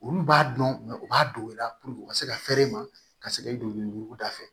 Olu b'a dɔn u b'a don u la puruke u ka se ka fɛɛrɛ ma ka se ka i don ɲugu da fɛ